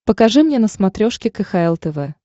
покажи мне на смотрешке кхл тв